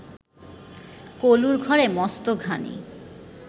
কলুর ঘরে মস্ত ঘানি